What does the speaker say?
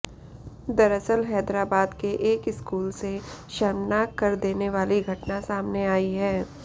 दरअसल हैदराबाद के एक स्कूल से शर्मनाक कर देने वाली घटना सामने आई है